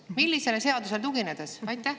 Millisele seadusele tuginedes?